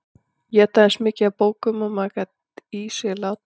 Éta eins mikið af bókum og maður gat í sig látið.